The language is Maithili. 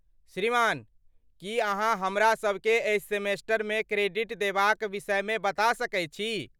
श्रीमान, की अहाँ हमरासबकेँ एहि सेमेस्टरमे क्रेडिट देबाक विषयमे बता सकैत छी?